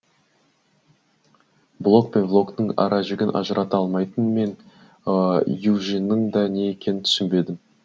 блог пен влогтың ара жігін ажырата алмайтын мен ювижнның да не екенін түсінбедім